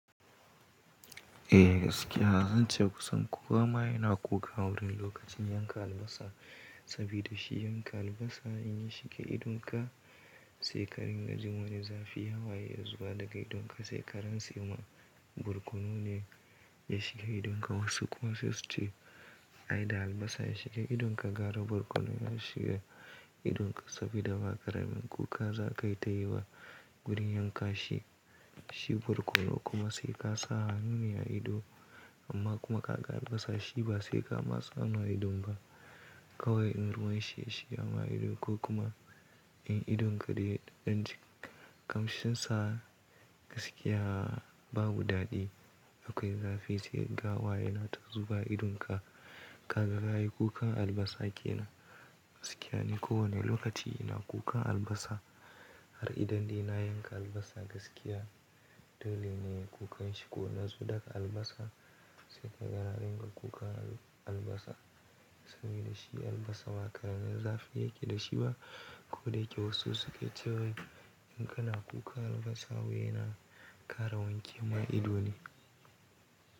Eh gaskiya zan ce kusan kowa ma yana kuka wurin lokacin yanka albasa sabida shi yanka albasa in ya shiga idonka, shekarin gajimawa ne zafi hawaye ya zuwa daga idonka. Se karan tsemin, barkono ne ya shiga idonka. Wasu kuma sai suce ai da albasa ya shiga idonka gara barkono ya shiga idonka sabida bakara min kuka za ka yi ta yi ba gurin yanka shi. Shi barkono kuma sai ka sa hannune a ido amma kuma ka ga albasa shi ba sai ka matsa hannu a ido ba kawai in ruwan yashigama ido ko kuma in idonka dai ɗan kamshinsa gaskiya babu daɗi. Akwai zafi sai kaga hawayena ta zuwa idonka. Ka ga kayi kukan albasa ke nan gaskiya ne ko wane lokaci ina kuka albasa har idan dai na yanka albasa gaskiya dole ne ku kan shigo na zo daga albasa sai ka ga na ringa kuka albasa sabida shi albasa bakaramin zafi yake da shi ba koda yake wasu suke cewa inka na kuka albasa wuya na ƙara wanke ma ido ne.